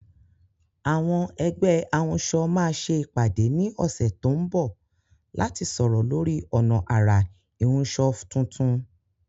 Àwọn ẹgbẹ́ ahunṣọ máa ṣe ìpàdé ní ọ̀sẹ̀ tó ń bọ̀ láti sọ̀rọ̀ lórí ọ̀nà àrà ìhunṣọ tuntun.